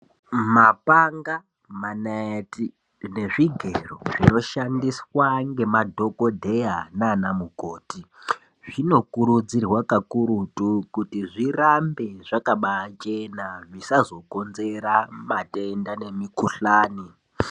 Mapanva, manaeti nezvigero zvinoshandiswa ngemadhokodheya nana mukoti zvinokurudzirwa kakurutu kuti zvirambe zvakabachena zvisazokonzera matenda nemikhuhlani.